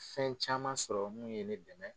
Fɛn caman sɔrɔ mun ye ne dɛmɛ.